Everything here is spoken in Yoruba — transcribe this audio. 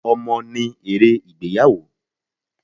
Ọmọ ní èrè ìgbéyàwó.